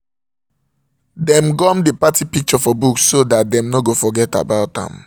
dem gum the party picture for book so that dem no go forget about am